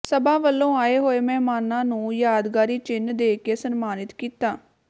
ਸਭਾ ਵੱਲੋਂ ਆਏ ਹੋਏ ਮਹਿਮਾਨਾਂ ਨੰੂ ਯਾਦਗਾਰੀ ਚਿੰਨ੍ਹ ਦੇ ਕੇ ਸਨਮਾਨਤ ਕੀਤਾ